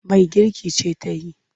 Mai girki ce ta yi.